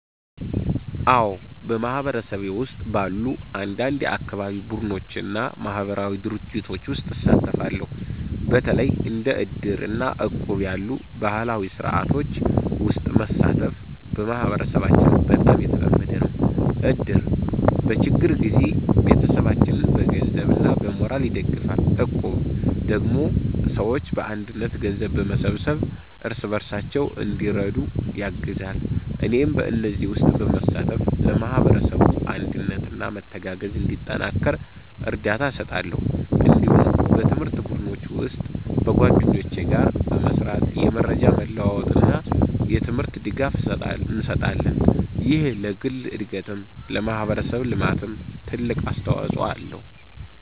አዎ፣ በማህበረሰቤ ውስጥ ባሉ አንዳንድ የአካባቢ ቡድኖች እና ማህበራዊ ድርጅቶች ውስጥ እሳተፋለሁ። በተለይ እንደ እድር እና እቁብ ያሉ ባህላዊ ስርዓቶች ውስጥ መሳተፍ በማህበረሰባችን በጣም የተለመደ ነው። እድር በችግር ጊዜ ቤተሰቦችን በገንዘብ እና በሞራል ይደግፋል፣ እቁብ ደግሞ ሰዎች በአንድነት ገንዘብ በመሰብሰብ እርስ በርሳቸው እንዲረዱ ያግዛል። እኔም በእነዚህ ውስጥ በመሳተፍ ለማህበረሰቡ አንድነት እና መተጋገዝ እንዲጠናከር እርዳታ እሰጣለሁ። እንዲሁም በትምህርት ቡድኖች ውስጥ በጓደኞቼ ጋር በመስራት የመረጃ መለዋወጥ እና የትምህርት ድጋፍ እንሰጣለን። ይህ ለግል እድገትም ለማህበረሰብ ልማትም ትልቅ አስተዋጽኦ አለው።